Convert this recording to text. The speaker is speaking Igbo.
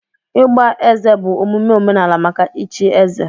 Ịgba eze bụ omume omenala maka ịchi eze.